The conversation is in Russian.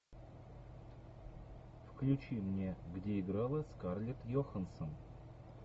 включи мне где играла скарлетт йоханссон